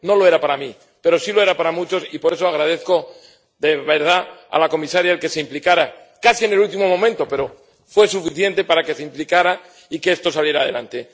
No lo era para mí, pero sí lo era para muchos y por eso agradezco, de verdad, a la comisaria que se implicara, casi en el último momento, pero fue suficiente que se implicara y que esto saliera adelante.